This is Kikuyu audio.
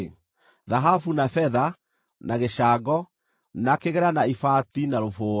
Thahabu, na betha, na gĩcango, na kĩgera, na ibati, na rũbũũa